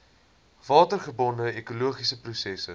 watergebonde ekologiese prosesse